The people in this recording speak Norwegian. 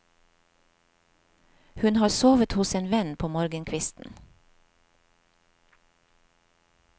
Hun har sovet hos en venn på morgenkvisten.